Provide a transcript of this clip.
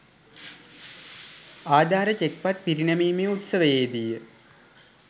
ආධාර චෙක්පත් පිරිනැමීමේ උත්සවයේදීය.